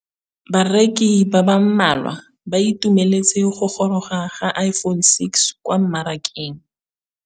Bareki ba ba malwa ba ituemeletse go gôrôga ga Iphone6 kwa mmarakeng.